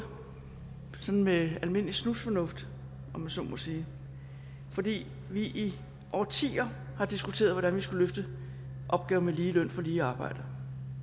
sådan med almindelig snusfornuft om jeg så må sige fordi vi i årtier har diskuteret hvordan vi skulle løfte opgaven med lige løn for lige arbejde